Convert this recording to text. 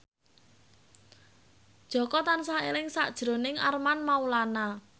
Jaka tansah eling sakjroning Armand Maulana